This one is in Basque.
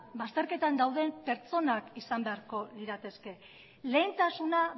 bazterketan dauden pertsonak izan beharko lirateke lehentasuna